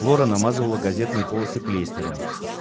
лора намазала газетные полосы клейстером